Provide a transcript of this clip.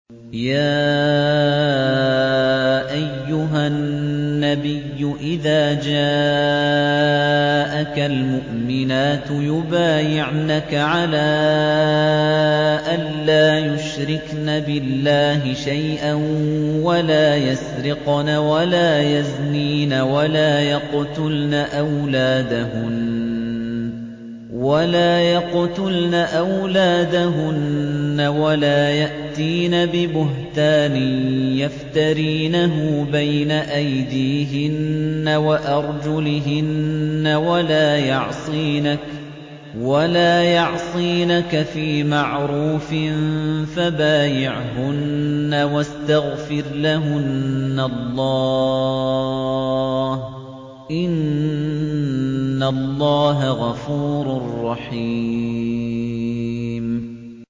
يَا أَيُّهَا النَّبِيُّ إِذَا جَاءَكَ الْمُؤْمِنَاتُ يُبَايِعْنَكَ عَلَىٰ أَن لَّا يُشْرِكْنَ بِاللَّهِ شَيْئًا وَلَا يَسْرِقْنَ وَلَا يَزْنِينَ وَلَا يَقْتُلْنَ أَوْلَادَهُنَّ وَلَا يَأْتِينَ بِبُهْتَانٍ يَفْتَرِينَهُ بَيْنَ أَيْدِيهِنَّ وَأَرْجُلِهِنَّ وَلَا يَعْصِينَكَ فِي مَعْرُوفٍ ۙ فَبَايِعْهُنَّ وَاسْتَغْفِرْ لَهُنَّ اللَّهَ ۖ إِنَّ اللَّهَ غَفُورٌ رَّحِيمٌ